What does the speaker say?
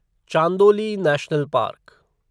Chandoli national park